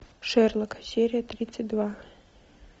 шерлок серия тридцать два